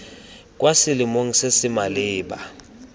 kwa selong se se maleba